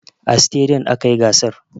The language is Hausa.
A stadiyom aka yi gasar.